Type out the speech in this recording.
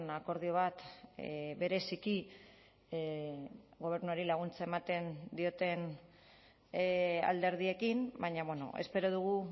akordio bat bereziki gobernuari laguntza ematen dioten alderdiekin baina espero dugu